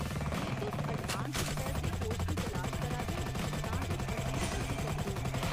जे तुस अडवांस स्तर दे कोर्स दी तलाश करा दे ओ, तां तुस असेंगी दस्सी सकदे ओ।